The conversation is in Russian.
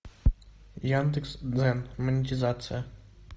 яндекс дзен монетизация